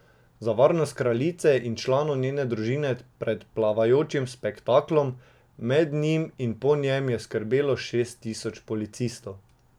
Za varnost kraljice in članov njene družine pred plavajočim spektaklom, med njim in po njem je skrbelo šest tisoč policistov.